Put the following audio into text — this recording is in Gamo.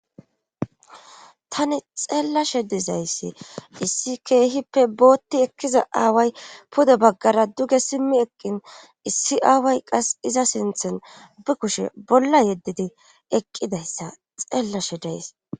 tani xeellashe dizayssi issi keehippe bootti ekkiza aaway pude baggara duge simmi eqqin issi aaway qas iza sinthen bi kushe bolla yeddidi eqqidayssa xeellashe dees